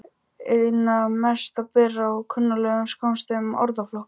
Einna mest ber á kunnuglegum skammstöfunum orðflokka.